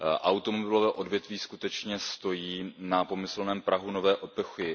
Automobilové odvětví skutečně stojí na pomyslném prahu nové epochy.